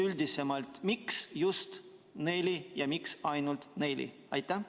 Üldisemalt, miks just neli ja miks ainult neli?